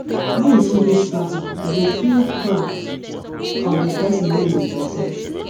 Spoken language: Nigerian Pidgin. wen you see big statue you go feel proud of the person wey e represent